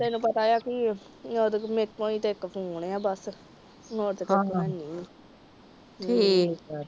ਤੈਨੂੰ ਪਤਾ ਏ ਸਾਡੀਆਂ ਕਮੇਟੀਆਂ ਵੀ ਇੱਕ ਤੋਂ ਆਉਣੀਆ ਬਸ